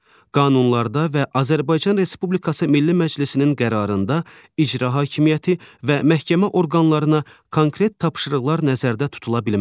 Qanunlarda və Azərbaycan Respublikası Milli Məclisinin qərarında icra hakimiyyəti və məhkəmə orqanlarına konkret tapşırıqlar nəzərdə tutula bilməz.